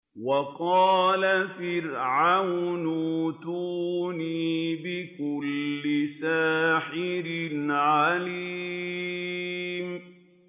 وَقَالَ فِرْعَوْنُ ائْتُونِي بِكُلِّ سَاحِرٍ عَلِيمٍ